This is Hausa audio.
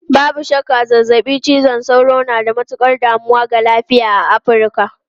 Babu shakka, zazzabin cizon sauro na da matukar damuwa ga lafiya a Afirka.